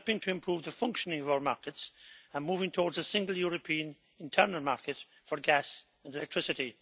are about helping to improve the functioning of our markets and moving towards a single European internal market for gas and electricity.